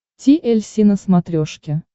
ти эль си на смотрешке